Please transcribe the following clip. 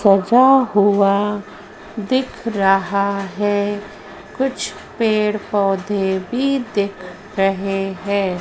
सजा हुआ दिख रहा है कुछ पेड़ पौधे भी दिख रहे हैं।